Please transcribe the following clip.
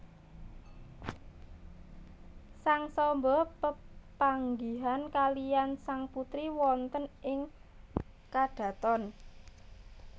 Sang Samba pepanggihan kaliyan sang putri wonten ing kadhaton